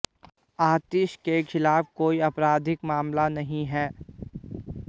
आतिशी के खिलाफ कोई आपराधिक मामला नहीं है